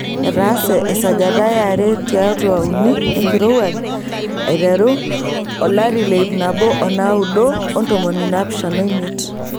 Etaase esajata e are tiatu uni enkirowuaj aiteru 1975.